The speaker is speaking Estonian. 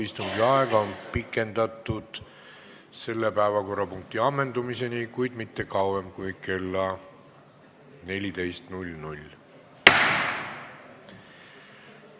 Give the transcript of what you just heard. Istungi aega on pikendatud selle päevakorrapunkti ammendumiseni, kuid mitte kauem kui kella 14-ni.